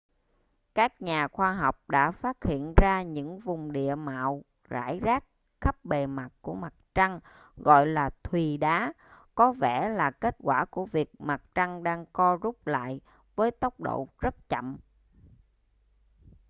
các nhà khoa học đã phát hiện ra những vùng địa mạo rải rác khắp bề mặt của mặt trăng gọi là thùy đá có vẻ là kết quả của việc mặt trăng đang co rút lại với tốc độ rất chậm